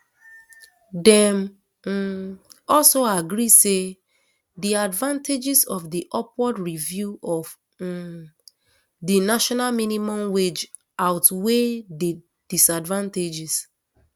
dem um also agree say di advantages of di upward review of um di national minimum wage outweigh di disadvantages